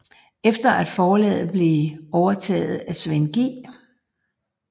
Efter at forlaget var blevet overtaget af Svend G